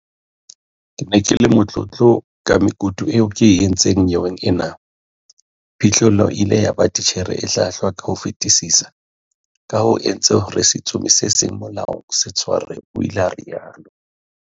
"Ke ne ke le motlotlo ka mekutu eo ke e entseng nyeweng ena, boiphihlelo e ile ya ba titjhere e hlwahlwa ka ho fetisisa kaha bo entse hore setsomi se seng molaong se tshwarwe," o ile a rialo.